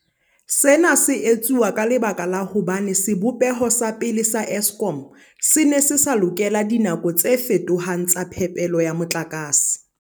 Sena se etsuwa ka lebaka la hobane sebopeho sa pele sa Eskom se ne se sa lokela dinako tse fetohang tsa phepelo ya motlakase.